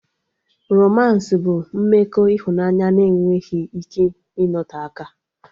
Romans bụ mmekọ ịhụnanya na enweghị ike ịnote aka